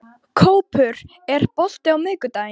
Kópur, er bolti á miðvikudaginn?